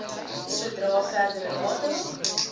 sodra verdere data